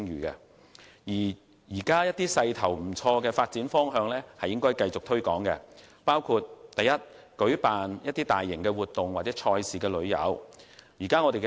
現時一些發展勢頭不錯的項目，應繼續予以推廣，包括舉辦大型活動或賽事旅遊。